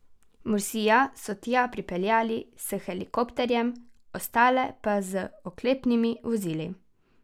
Mursija so tja pripeljali s helikopterjem, ostale pa z oklepnimi vozili.